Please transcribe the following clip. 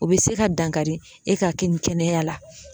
O be se ka dankari e ka ke kɛnɛya la